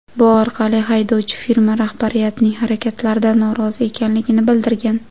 Bu orqali haydovchi firma rahbariyatining harakatlaridan norozi ekanligini bildirgan.